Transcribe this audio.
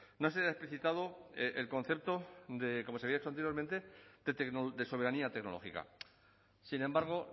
no se haya explicitado el concepto de como se había hecho anteriormente de soberanía tecnológica sin embargo